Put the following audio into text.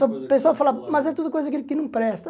O pessoal fala, mas é tudo coisa que que não presta.